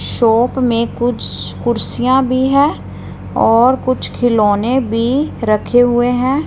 Shop में कुछ कुर्सियां भी है और कुछ खिलौने भी रखे हुए हैं।